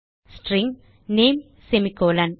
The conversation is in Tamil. string name semicolon